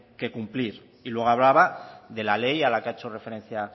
que cumplir y luego hablaba de la ley a la que ha hecho referencia